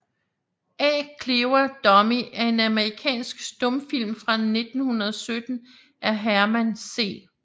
A Clever Dummy er en amerikansk stumfilm fra 1917 af Herman C